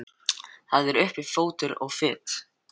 Það er uppi fótur og fit.